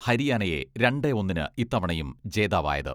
ഹരിയാനയെ രണ്ടേ ഒന്നിന് ഇത്തവണയും ജേതാവായത്.